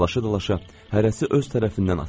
Dalaşa-dalaşa hərəsi öz tərəfindən atırdı.